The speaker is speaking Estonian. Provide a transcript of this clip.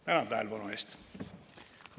Tänan tähelepanu eest!